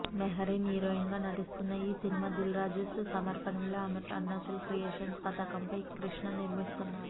Mehreen heroine గా నటిస్తున్న ఈ సినిమా దిల్ రాజుస్ అమర్పనలో అరుణాచల్ క్రియేషన్స్ పతాకంపై కృష్ణ నిర్మిస్తున్నారు